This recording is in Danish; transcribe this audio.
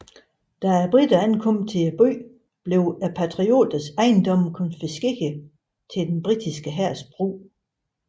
Da briterne ankom til byen blev patrioters ejendomme konfiskeret til den britiske hærs brug